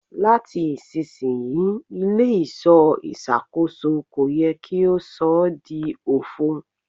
Lati isisiyi ile-iṣọ iṣakoso ko yẹ ki o sọ di ofo